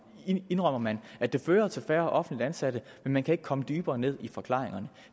indrømmer man at det fører til færre offentligt ansatte men man kan ikke komme dybere ned i forklaringerne